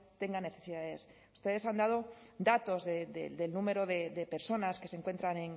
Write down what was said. tenga necesidades ustedes han dado datos del número de personas que se encuentran